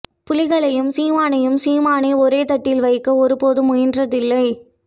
புலிகளையும் சீமானையும் சீமானே ஒரேதட்டில் வைக்க ஒரு போதும் முயன்றதில்லை